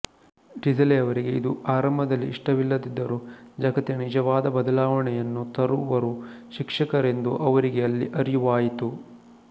ಡಿಸಲೆ ಅವರಿಗೆ ಇದು ಆರಂಭದಲ್ಲಿ ಇಷ್ಟವಿಲ್ಲದಿದ್ದರೂ ಜಗತ್ತಿನಲ್ಲಿ ನಿಜವಾದ ಬದಲಾವಣೆಯನ್ನು ತರುವರು ಶಿಕ್ಷಕರೆಂದು ಅವರಿಗೆ ಅಲ್ಲಿ ಅರಿವಾಯಿತು